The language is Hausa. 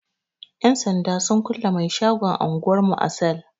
Yan sanda sun kulle mai shagon anguwar mu a sel.